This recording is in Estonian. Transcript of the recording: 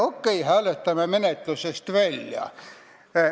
Okei, hääletame menetlusest välja.